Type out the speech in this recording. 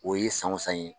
O ye san o san ye